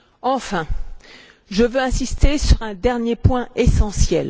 Enfin, je veux insister sur un dernier point essentiel.